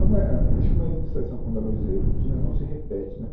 Uma, é, é, a, Acho que uma administração como a da Luiza Erundina não se repete, né